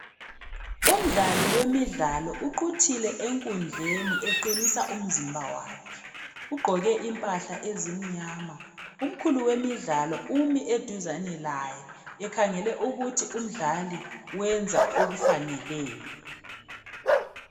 Umdlali wemidlalo uquthile enkundleni eqinisa umzimba wakhe ugqoke impahla ezimnyama. Umkhulu wemidlalo umi eduzane laye ekhangele ukuthi umdlali wenza okufaneleyo.